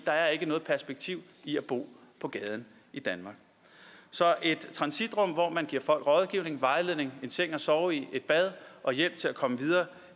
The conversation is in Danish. der er ikke noget perspektiv i at bo på gaden i danmark så et transitrum hvor man giver folk rådgivning og vejledning en seng at sove i et bad og hjælp til at komme videre